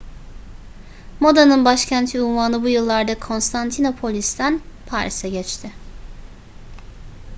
modanın başkenti unvanı bu yıllarda konstantinopolis'ten paris'e geçti